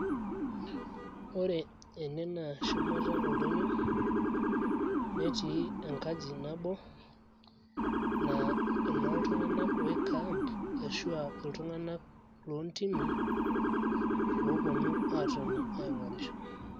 ore ene naa shumata oldonyio netii enkaji nabo naa enooltung`anak oi camp ashua iltung`anak loontimi ooponu aatoni aing`orisho.